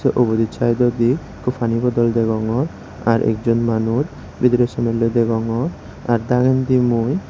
uguret sydodi ekko pani bodol degongor ar ekjon manuj bidirey somelloi degongor ar dagendi mui.